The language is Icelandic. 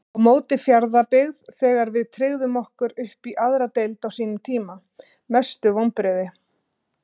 á móti fjarðabyggð þegar við tryggðum okkur uppí aðra deild á sínum tíma Mestu vonbrigði?